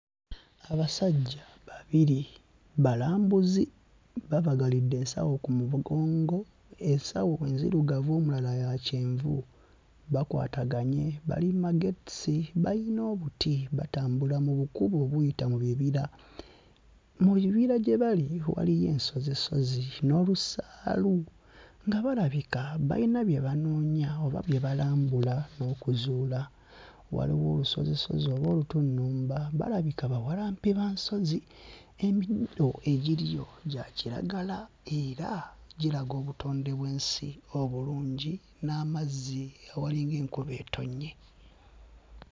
Abasajja babiri balambuzi babagalidde ensawo ku mugongo, ensawo nzirugavu omulala ya kyenvu bakwataganye, bali mu magetesi, bayina obuti batambula mu bukubo obuyita mu bibira. Mu bibira gye bali waliyo ensozisozi n'olusaalu nga balabika bayina bye banoonya oba bye balambula okuzuula. Waliwo olusozisozi oba olutunnumba balabika bawalampi ba nsozi. Emiddo egiriyo gya kiragala era giraga obutondebwensi obulungi, n'amazzi walinga enkuba etonnye.